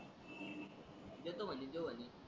देतो म्हणे तोय म्हणे